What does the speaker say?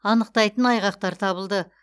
анықтайтын айғақтар табылды